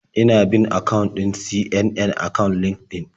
Ina bin akawun ɗin CNN a kan LinkedIn.